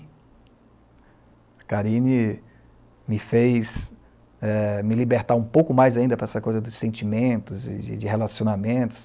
A Karine me fez eh, me libertar um pouco mais ainda para essa coisa dos sentimentos e de de relacionamentos.